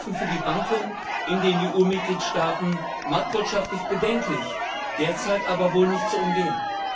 So sind Hilfen für die Banken in den EU Mitgliedstaaten marktwirtschaftlich bedenklich, derzeit aber wohl nicht zu umgehen.